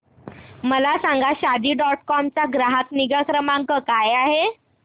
मला सांगा Shaadi dot com चा ग्राहक निगा क्रमांक काय आहे